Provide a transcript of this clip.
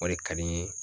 O de ka di n ye